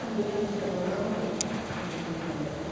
Também era um telão eh.